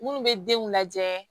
Munnu be denw lajɛ